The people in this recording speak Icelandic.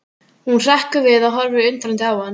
Hún hrekkur við og horfir undrandi á hann.